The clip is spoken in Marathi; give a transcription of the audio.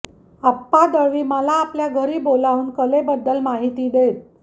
आप्पा दळवी मला आपल्या घरी बोलावून कलेबद्दल माहिती देत